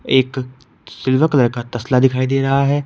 एक silver colour का तस्ला दिखाई दे रहा है।